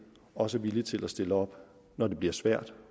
også er villige til at stille op når det bliver svært